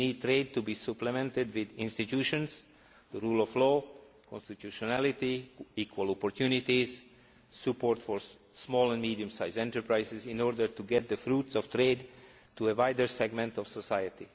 We need trade to be supplemented with institutions, the rule of law, constitutionality, equal opportunities and support for small and medium sized enterprises in order to channel the fruits of trade to a wider segment of society.